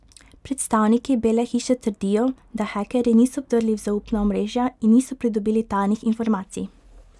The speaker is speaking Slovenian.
Predstavniki Bele hiše trdijo, da hekerji niso vdrli v zaupna omrežja in niso pridobili tajnih informacij.